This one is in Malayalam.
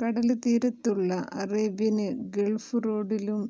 കടല്ത്തീരത്തുള്ള അറേബ്യന് ഗള്ഫ് റോഡിലും